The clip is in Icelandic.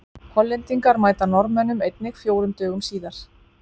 Hollendingar mæta Norðmönnum einnig fjórum dögum síðar.